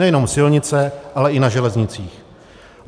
Nejenom silnice, ale i na železnicích.